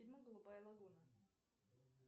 фильм голубая лагуна